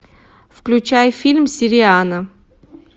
включай фильм сириана